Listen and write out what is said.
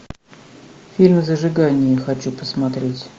фильм зажигание хочу посмотреть